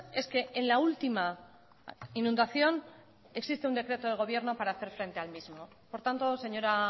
es que en la última inundación existe un decreto de gobierno para hacer frente al mismo por tanto señora